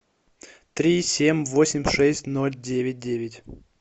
три семь восемь шесть ноль девять девять